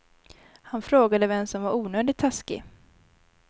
Han frågade vem som var onödigt taskig.